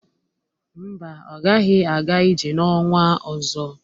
Mba, ọ gaghị aga ije n'ọnwa ọzọ.